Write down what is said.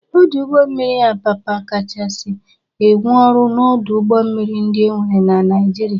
Ọdụ ụgbọ mmiri Apapa kachasi enwe ọrụ n'ọdụ ụgbọ mmiri ndị enwere na Naịjịrịa.